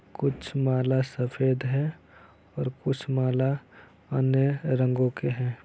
कुछ माला सफ़ेद है और कुछ माला अनेक रंगो के है।